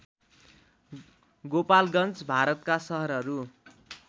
गोपालगञ्ज भारतका सहरहरू